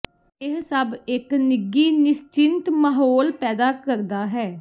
ਇਹ ਸਭ ਇੱਕ ਨਿੱਘੀ ਨਿਸਚਿੰਤ ਮਾਹੌਲ ਪੈਦਾ ਕਰਦਾ ਹੈ